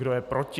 Kdo je proti?